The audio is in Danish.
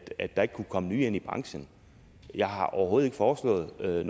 at der ikke kan komme nye ind i branchen jeg har overhovedet ikke foreslået noget